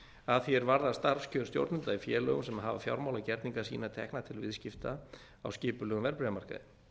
að því er varðar starfskjör stjórnenda í félögum sem hafa fjármálagerninga sína tekna til viðskipta á skipulegum verðbréfamarkaði